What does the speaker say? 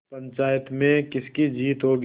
पंचायत में किसकी जीत होगी